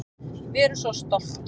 Við erum svo stolt